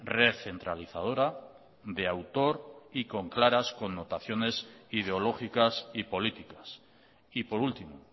recentralizadora de autor y con claras connotaciones ideológicas y políticas y por último